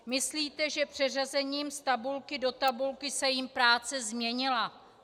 Myslíte, že přeřazením z tabulky do tabulky se jim práce změnila?